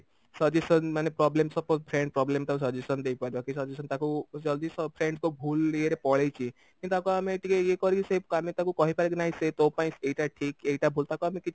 suggestion ମାନେ problem suppose friend problem ତାକୁ suggestion ଦେଇପାରିବ କି suggestion ତାକୁ ଯଦି friends ଙ୍କ ଭୁଲ ଇଏରେ ପଳେଇଛି କିନ୍ତୁ ତାକୁ ଆମେ ଟିକେ ଇଏ କରିକି ସେ ଆମେ ତାକୁ କହିପାରିବା କିନ ନାଇଁ ସେ ତୋ ପାଇଁ ଏଇଟା ଠିକ ଏଇଟା ଭୁଲ ତାକୁ ଆମେ କିଛି